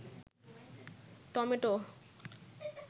tomato